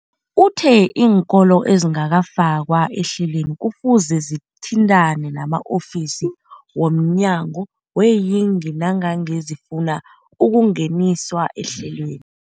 Uthe iinkolo ezingakafakwa ehlelweneli kufuze zithintane nama-ofisi wo mnyango weeyingi nangange zifuna ukungeniswa ehlelweni.